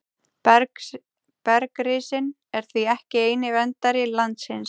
Bergrisinn er því ekki eini verndari landsins.